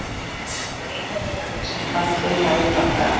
Einherjar eru þeir sem fallið hafa í bardaga.